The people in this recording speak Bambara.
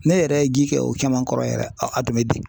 Ne yɛrɛ ye ji kɛ o caman kɔrɔ yɛrɛ , a tun bɛ den .